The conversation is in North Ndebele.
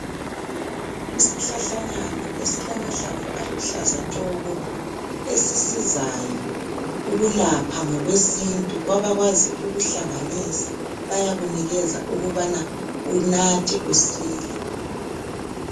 Isihlahlanyana esilamahlamvu aluhlaza tshoko esisizayo ukulapha ngokwesintu kwabakwazi ukuhlanganisa bayakunikeza ukubana unathe usile.